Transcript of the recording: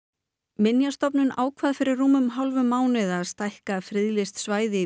minjastofnun ákvað fyrir rúmum hálfum mánuði að stækka friðlýst svæði